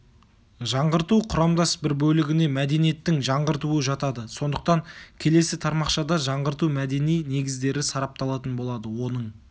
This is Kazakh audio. жаңғырту құрамдас бір бөлігіне мәдениеттің жаңғыртуы жатады сондықтан келесі тармақшада жаңғырту мәдени негіздері сарапталатын болады оның